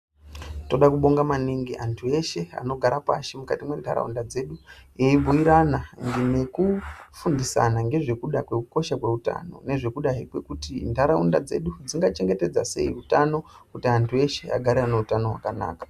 Toda kubonga maningi anthu eshe anogara pashi mukati mwentharaunda dzedu eibhuirana nekufundisana ngezvekuda kwekukosha kweutano nezvekudai kwekuti ntharaunda dzedu dzingachengetedza sei utano kuti anthu eshe agare ane utano hwakanaka.